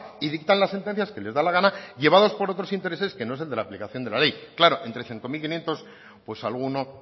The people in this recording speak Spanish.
y dictan las sentencias que les da la gana llevados por otros intereses que no es el de la aplicación de la ley claro entre cinco mil quinientos pues alguno